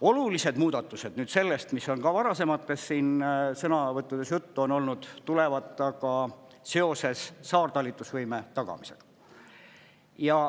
Olulised muudatused sellest, mis on ka varasemates sõnavõttudes juttu olnud, tulevad aga seoses saartalitlusvõime tagamisega.